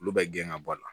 Olu bɛ gɛn ŋa bɔ a la